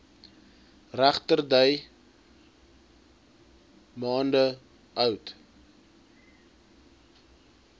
regterdy maande oud